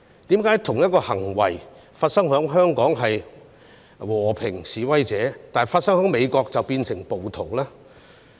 為何同一種行為發生在香港就是和平示威，但發生在美國便變成暴動呢？